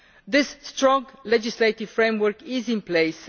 This strong legislative framework is in place.